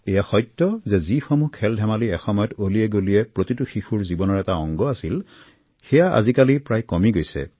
এয়া সত্য যে যিসমূহ খেলধেমালি এসময়ত অলিয়েগলিয়ে প্ৰতিটো শিশুৰ জীৱনৰ এটি অংগ আছিল সেয়া আজিকালি প্ৰায় নাইকীয়া হৈছে